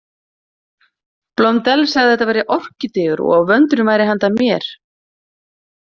Blondelle sagði að að þetta væru orkídeur og að vöndurinn væri handa mér.